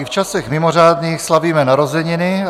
I v časech mimořádných slavíme narozeniny.